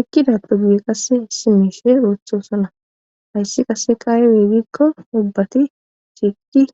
eqkidappe guye qasse hisi mishe ooththosona hayssi qasseka eweegikko ubbati eqida